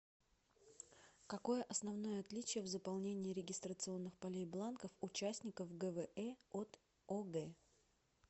какое основное отличие в заполнении регистрационных полей бланков участников гвэ от огэ